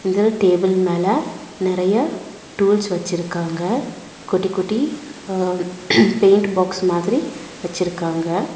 இந்த டேபிள் மேல நெறைய டூல்ஸ் வெச்சிருக்காங்க குட்டி குட்டி ஆ பெயிண்ட் பாக்ஸ் மாதிரி வெச்சிருக்காங்க.